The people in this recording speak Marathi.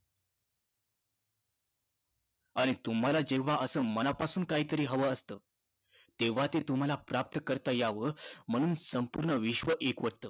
आणि तुम्हाला जेव्हा असं मनापासून काहीतरी हवं असतं, तेव्हा ते तुम्हाला प्राप्त करता यावं म्हणून संपूर्ण विश्व एकवटतं.